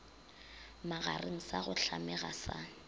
magareng sa go hlamega sa